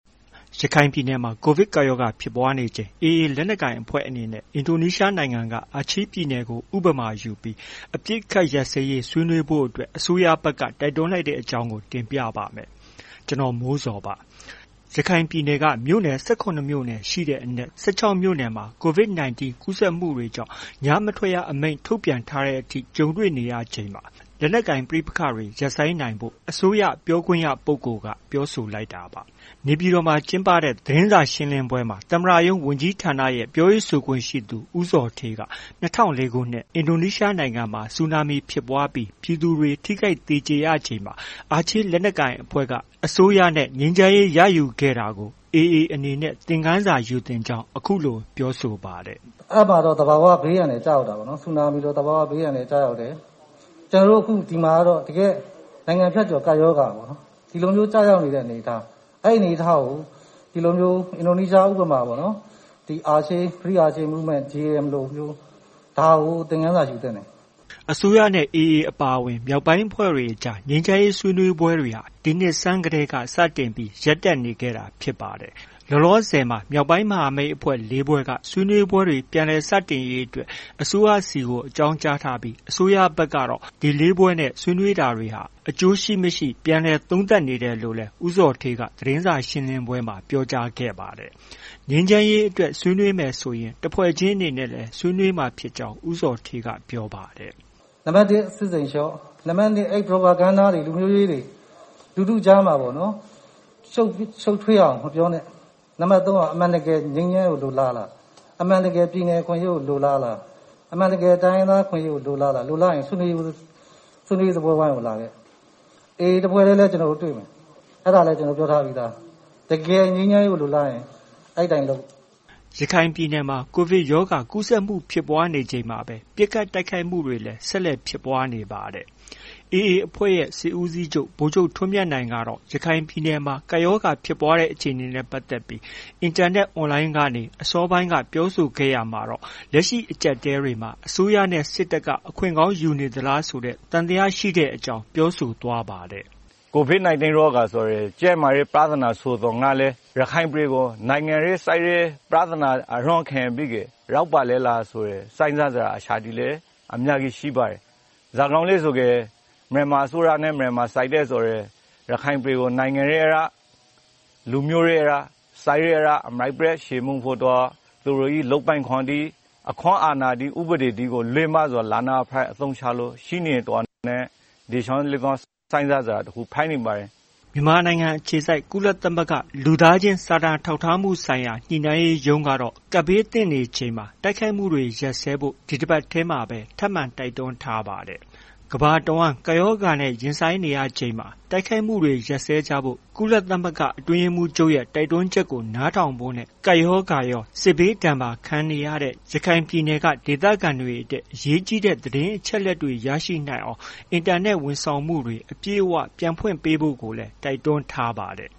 ရခိုင်ပြည်နယ်မှာ ကိုဗစ်ကပ်ရောဂါ ဖြစ်ပွားနေချိန် AA လက်နက်ကိုင်အဖွဲ့အနေနဲ့ အင်ဒိုနီးရှားနိုင်ငံက အာချေးပြည်နယ်ကို ဥပမာယူပြီး အပစ်ရပ်ရေးဆွေးနွေးနွေးဖို့ အစိုးရဘက်က တိုက်တွန်းလိုက်တဲ့အကြောင်း ကိုမိုးဇော် တင်ပြပါမယ်။ ရခိုင်ပြည်နယ်က မြို့နယ် ၁၇မြို့နယ်ရှိတဲ့အနက် ၁၆မြို့နယ်မှာ COVID- 19 ကူးစက်မှုတွေကြောင့် ညမထွက်ရအမိန့်တွေ ထုတ်ပြန်ထားရတဲ့အထိ ကြုံနေရချိန်မှာပဲ လက်နက်ကိုင်ပဋိပက္ခတွေ ရပ်ဆိုင်းနိုင်ဖို့ အစိုးရပြောခွင့်ရပုဂ္ဂိုလ်က ပြောဆိုလိုက်တာပါ။ နေပြည်တော်မှာ ကျင်းပတဲ့ သတင်းစာရှင်းလင်းရှင်းလင်းပွဲမှာ သမ္မတရုံးဝန်ကြီးဌာနရဲ့ ပြောရေးဆိုခွင့်ရှိသူ ေ ဦးဇော်ဌေးက ၂၀၀၄ခုနှစ် အင်ဒိုနီးရှားနိုင်ငံမှာ ဆူနာမီဖြစ်ပွားပြီး ပြည်သူတွေ ထိခိုက်သေကျေရချိန်မှာ အာချေးလက်နက်ကိုင်အဖွဲ့ဟာ အစိုးရနဲ့ ဆွေးနွေးပြီး ငြိမ်းချမ်းရေး ရယူခဲ့တာကို AA အနေနဲ့ သင်ခန်းစာယူသင့်ကြောင်း အခုလို ပြောဆိုပါတယ်။ “ အဲဒီမှာတော့ သဘာ၀ ဘေးအန္တရာယ်ကျရောက်တာပေါ့။ ဆူနာမီလို သဘာ၀ ဘေးအန္တရာယ်ကျရောက်တယ်။ ကျနော်တို့ဒီမှာကတော့ တကယ့် နိုင်ငံဖြတ်ကျော် ကပ်ရောဂါ ကျရောက်နေတဲ့အနေအထား။ အဲဒီအနေအထားကို ဒီလိုမျိုး အင်ဒိုနီးရှားဥပမာပေါ့နော်။ အာချေး Free Aceh Movement လိုမျိုး သင်ခန်းစာယူသင့်တယ်။” အစိုးရနဲ့ AA အပါအဝင် မြောက်ပိုင်းမဟာမိတ်အဖွဲ့တွေအကြား ငြိမ်းချမ်းရေးဆွေးနွေးပွဲတွေဟာ ဒီနှစ်ဆန်းက စတင်ပြီး ရပ်တန့်နေတာဖြစ်ပါတယ်။ လောလောဆည်မှာတော့ မြောက်ပိုင်းမဟာမိတ်အဖွဲ့ ၄ဖွဲ့က ဆွေးနွေးပွဲတွေ ပြန်လည်စတင်ရေးအတွက် အစိုးရဆီကို အကြောင်းကြားထားပြီး အစိုးရဘက်ကတော့ ဒီ ၄ဖွဲ့နဲ့ ဆွေးနွေးတာတွေဟာ အကျိုးရှိ မရှိ ပြန်လည်သုံးသပ်နေတယ်လို့လည်း ဦးဇော်ဌေးက သတင်းစာရှင်းပွဲမှာ ပြောကြားခဲ့ပါတယ်။ ငြိမ်းချမ်းရေးအတွက် ဆွေးနွေးမယ်ဆိုရင် တစ်ဖွဲ့ချင်းအနေနဲ့လည်း ဆွေးနွေးမှာဖြစ်ကြောင်း ဦးဇော်ဌေးကပြောပါတယ်။ “နံပတ်တစ် စစ်ရှိန်လျှော့။ နံပတ်နှစ် အဲဒီ Propaganda တွေ လူမျိုးရေးတွေ၊ လူထုကြားမှာပေါ့နော် ရှုပ်ထွေးအောင် မပြောနဲ့။ နံပတ် သုံးက အမှန်တကယ် ငြိမ်းချမ်းရေးကို လိုလားလား။ အမှန်တကယ် ပြည်နယ် အခွင့်အရေးကို လိုလားလား။ အမှန်တကယ် တိုင်းရင်းသားအခွင့်အရေးကို လိုလားလား။ လိုလားရင် ဆွေးနွေးရေးစားပွဲဝိုင်းကိုလာခဲ့။ AA တစ်ဖွဲ့တည်းလည်း ကျနော်တို့ တွေ့မယ်။ အဲဒါလည်း ကျနော်တို့ ပြောထားပြီးသား။” ရခိုင်ပြည်နယ်မှာ ကိုဗစ်ရောဂါ ကူးစက်မှုတွေ ဖြစ်ပွားနေချိန်မှာပဲ ပစ်ခတ်တိုက်ခိုက် မှုတွေလည်းဆက်လက်ဖြစ်ပွားနေပါတယ်။ AA အဖွဲ့ရဲ့ စစ်ဦးစီးချုပ် ဗိုလ်ချုပ်ထွန်းမြတ်နိုင်ကတော့ ရခိုင်ပြည်နယ်မှာ ကပ်ရောဂါဖြစ်ပွားနေတဲ့ အခြေအနေနဲ့ ပတ်သက်လို့ အင်တာနက်အွန်လိုင်းကနေ အစောပိုင်းပြောဆိုခဲ့ရာမှာတော့ လက်ရှိအကျပ်အတည်းကြားမှာ အစိုးရနဲ့ စစ်တပ်က အခွင့်ကောင်းယူနေသလားဆိုတာ သံသယရှိတဲ့အကြောင်း ပြောဆိုသွားပါတယ်။ “ COVID-19 ရောဂါ ဆိုတာ ကျန်းမာရေးပြဿနာဆိုသော်ငြားလည်း ရခိုင်ပြည်ကို နိုင်ငံရေးစစ်ရေး ပြဿနာအရင်းခံပြီးတော့ ရောက်လာတာများလားဆိုတဲ့ စဉ်းစားစရာအချက်တွေလည်း အများကြီးရှိပါတယ်။ ဘာကြောင့်လည်း ဆိုတော့ မြန်မာအစိုးရနဲ့ မြန်မာစစ်တပ်ဆိုတာ ရခိုင်ပြည်ကို နိုင်ငံရေးအရ ၊ လူမျိုးရေးအရ စစ်ရေးအရ အမြစ်ပြတ်ချေမှုန်းဖို့ သူတို့ရဲ့ လုပ်ပိုင်ခွင့်တွေ အခွင့်အာဏာတွေ ဥပဒေတွေကို လွဲမှားစွာ လက်နက်အဖြစ် အသုံးချလို့ ရှိနေတာနဲ့ ဒီအချက်တွေလည်း စဉ်းစားစရာတစ်ခုဖြစ်နေပါတယ်။” မြန်မာနိုင်ငံအခြေစိုက် ကုလသမဂ္ဂ လူသားချင်းစာနာထောက်ထားမှုဆိုင်ရာ ညှိနှိုင်းရေးမှူးရုံးကတော့ ကပ်ဘေးသင့်နေချိန် တိုက်ခိုက်မှုတွေ ရပ်စဲဖို့ ဒီတပတ်ထဲမှာပဲ ထပ်မံတိုက်တွန်းထားပါတယ်။ ကမ္ဘာတဝန်း ကပ်ရောဂါနဲ့ ရင်ဆိုင်နေရချိန်မှာ တိုက်ခိုက်မှုတွေ ရပ်စဲကြဖို့ ကုလသမဂ္ဂ အတွင်းရေးမှူး ချုပ်ရဲ့ တိုက်တွန်းချက်ကို နားထောင်ဖို့နဲ့ ကပ်ရောဂါရော စစ်ဘေးဒဏ်ပါခံနေရတဲ့ ရခိုင်ပြည်နယ်မှာ ဒေသခံတွေ အရေးကြီးတဲ့ သတင်းအချက်အလက်တွေ ရရှိနိုင်အောင် အင်တာနက်ဝန် ဆောင်မှု တွေ အပြည့်အ၀ ပြန်ဖွင့်ပေးဖို့လည်း တိုက်တွန်းထားပါတယ်